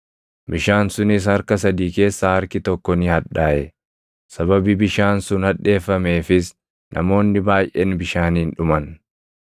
maqaan urjii sanaas “Hadheessaa” jedhama. Bishaan sunis harka sadii keessaa harki tokko ni hadhaaʼe; sababii bishaan sun hadheeffameefis namoonni baayʼeen bishaaniin dhuman.